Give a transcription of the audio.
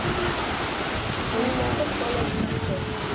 school friend જ college માં છો, એમ